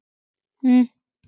Því fer hins vegar fjarri.